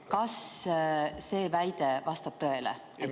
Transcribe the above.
Kas see väide vastab tõele?